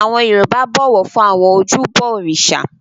Àwọn Yorùbá bọ̀wọ̀ fún àwọn ojúbọ òrìṣà